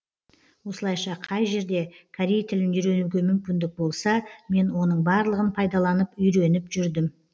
осылайша қай жерде корей тілін үйренуге мүмкіндік болса мен оның барлығын пайдаланып үйреніп жүрдім